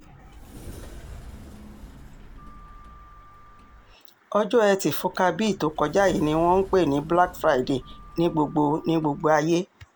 ọjọ́ etí furcabe e tó kọjá yìí ni wọ́n ń pè ní black friday ní gbogbo ní gbogbo ayé